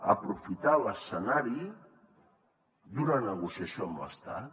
aprofitar l’escenari d’una negociació amb l’estat